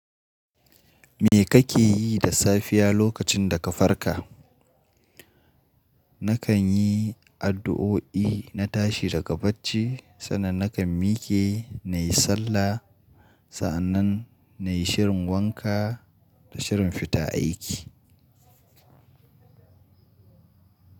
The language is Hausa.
Me kake yi da safiya lokacin da ka farka? Nakan yi addu'o'i na tashi daga bacci, sannan nakan mike, na yi sallah, sa'annan na yi shirin wanka da shirin fita aiki.